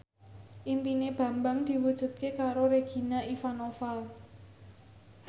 impine Bambang diwujudke karo Regina Ivanova